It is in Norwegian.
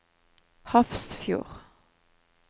Hafrsfjord